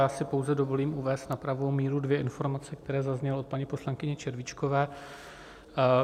Já si pouze dovolím uvést na pravou míru dvě informace, které zazněly od paní poslankyně Červíčkové.